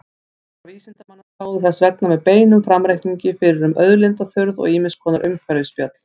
Hópar vísindamanna spáðu þess vegna með beinum framreikningi fyrir um auðlindaþurrð og ýmiss konar umhverfisspjöll.